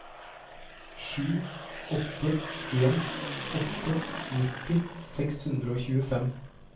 sju åtte en åtte nitti seks hundre og tjuefem